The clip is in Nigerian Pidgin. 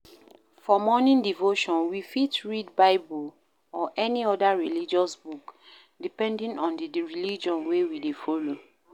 For morning devotion we fit read bible or any oda religious book, depending on di religion wey we dey follow